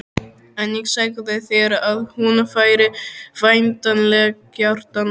En ég sagði þér að hún væri væntanleg, Kjartan.